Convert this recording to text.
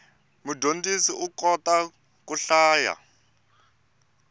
mudyondzisi u kota ku hlaya